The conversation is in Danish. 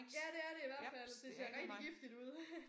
Ja det er det i hvert fald det ser rigtig giftigt ud